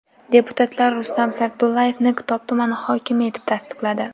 Deputatlar Rustam Sagdullayevni Kitob tumani hokimi etib tasdiqladi.